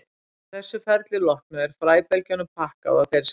Að þessu ferli loknu er fræbelgjunum pakkað og þeir seldir.